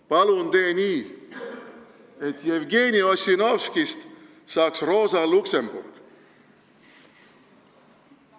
Palun tee nii, et Jevgeni Ossinovskist saaks Rosa Luxemburg!